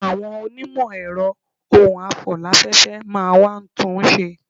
Àwọn onímọ̀ ẹ̀rọ ohun afò láfẹ́fẹ́ máa wá tún un ṣe.